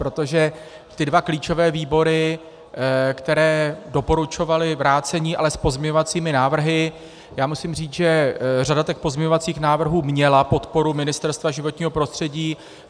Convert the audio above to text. Protože ty dva klíčové výbory, které doporučovaly vrácení, ale s pozměňovacími návrhy, já musím říct, že řada těch pozměňovacích návrhů měla podporu Ministerstva životního prostředí.